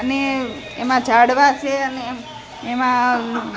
અને એમા ઝાડવા છે અને એમા --